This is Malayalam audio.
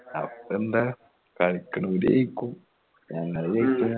അപ്പോന്താ കളിക്കാനൊരു ജയിക്കും ഞങ്ങൾ ജയിക്ക്യാ